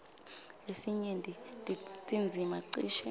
lesinyenti tindzima cishe